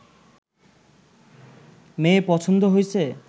মেয়ে পছন্দ হইছে